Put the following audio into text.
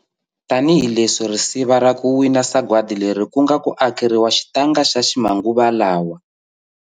Tanihileswi risiva ra ku wina sagwadi leri ku nga ku akeriwa xitanga xa ximanguvalawa.